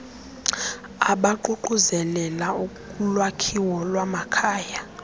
abaququzelela ulwakhiwo lwamakhaya